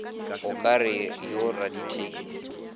o ka re yo radithekisi